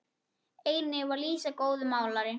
Einnig var Lísa góður málari.